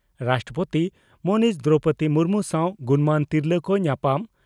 ᱨᱟᱥᱴᱨᱚᱯᱳᱛᱤ ᱢᱟᱹᱱᱤᱡ ᱫᱨᱚᱣᱯᱚᱫᱤ ᱢᱩᱨᱢᱩ ᱥᱟᱣ ᱜᱩᱱᱢᱟᱱ ᱛᱤᱨᱞᱟᱹ ᱠᱚ ᱧᱟᱯᱟᱢ